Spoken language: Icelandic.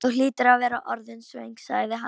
Þú hlýtur að vera orðin svöng, sagði hann.